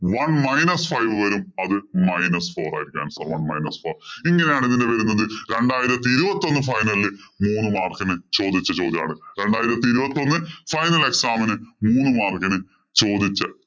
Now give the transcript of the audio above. One minus five വരും. അത് minus four ആയിരിക്കും answer. One minus four ഇങ്ങനെയാണ് ഇതിന്‍റെ വരുന്നത്. രണ്ടായിരത്തി ഇരുപത്തിയൊന്ന് final ഇല്‍ മൂന്ന് mark ഇന് ചോദിച്ച ചോദ്യമാണ്. രണ്ടായിരത്തി ഇരുപത്തൊന്ന് final exam ഇന് മൂന്ന് mark ഇന് ചോദിച്ച